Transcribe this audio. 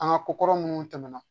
An ka ko kɔrɔ minnu tɛmɛna